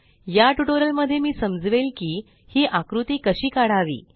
या ट्यूटोरियल मध्ये मी समजवेल की ही आकृती कशी काढावी